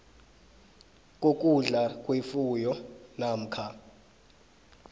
kokudla kwefuyo namkha